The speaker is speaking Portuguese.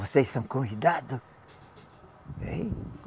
Vocês são convidado? Ein?